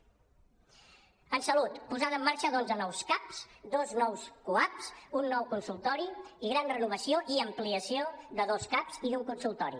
en salut posada en marxa d’onze nous caps dos nous cuaps un nou consultori i gran renovació i ampliació de dos caps i d’un consultori